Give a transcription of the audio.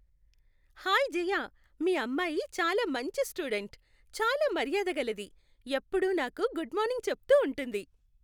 Hi Jaya, మీ అమ్మాయి చాలా మంచి స్టూడెంట్, చాలా మర్యాద గలది. ఎప్పుడూ నాకు గుడ్ మార్నింగ్ చెప్తూ ఉంటుంది.